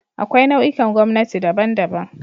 Akwai nau'ikan gwamnati daban-daban